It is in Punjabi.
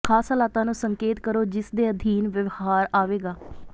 ਖਾਸ ਹਾਲਾਤਾਂ ਨੂੰ ਸੰਕੇਤ ਕਰੋ ਜਿਸ ਦੇ ਅਧੀਨ ਵਿਵਹਾਰ ਆਵੇਗਾ